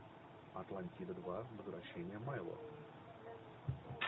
атлантида два возвращение майло